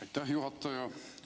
Aitäh, juhataja!